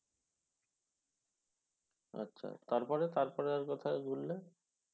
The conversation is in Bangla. আচ্ছা, তারপরে তারপরে আর কথায় ঘুরলে?